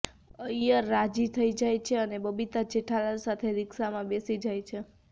અય્યર રાજી થઈ જાય છે અને બબીતા જેઠાલાલ સાથે રિક્શામાં બેસી જાય છે